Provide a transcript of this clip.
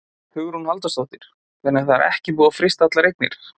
Hugrún Halldórsdóttir: Þannig að er ekki búið að frysta allar eignir?